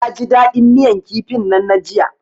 Naji dadin miyan kifin nan na jiya.